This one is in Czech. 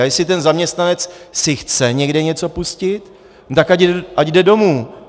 A jestli ten zaměstnanec si chce někde něco pustit, tak ať jde domů.